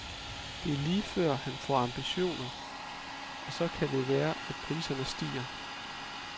Det er lige før, han får ambitioner, og så kan det være, at priserne stiger.